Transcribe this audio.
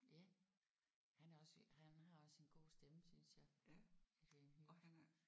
Ja han er også han har også sin gode stemme synes jeg Adrian Hughes